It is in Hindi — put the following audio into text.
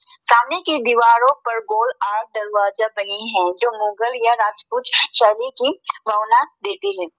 सामने की दीवारों पर गोल दरवाजा बने हैं जो मुगल या राजपूत सभी के देती हैं।